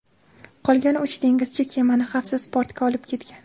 Qolgan uch dengizchi kemani xavfsiz portga olib ketgan.